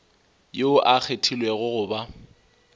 yoo a kgethilwego go ba